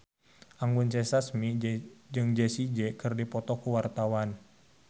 Anggun C. Sasmi jeung Jessie J keur dipoto ku wartawan